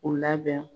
U labɛn